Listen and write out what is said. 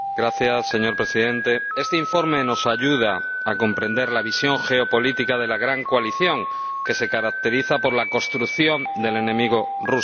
Señor Presidente, este informe nos ayuda a comprender la visión geopolítica de la gran coalición, que se caracteriza por la construcción del enemigo ruso.